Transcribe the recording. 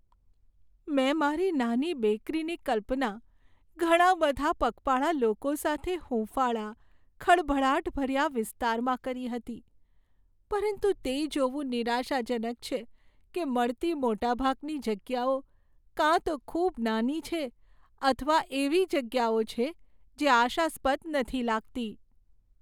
મેં મારી નાની બેકરીની કલ્પના ઘણા બધા પગપાળા લોકો સાથે હુંફાળા, ખળભળાટભર્યા વિસ્તારમાં કરી હતી, પરંતુ તે જોવું નિરાશાજનક છે કે મળતી મોટાભાગની જગ્યાઓ કાં તો ખૂબ નાની છે અથવા એવી જગ્યાઓ છે જે આશાસ્પદ નથી લાગતી.